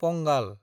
पंगाल